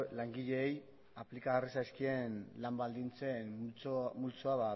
langileei aplikagarri zaizkien lan baldintzen multzoa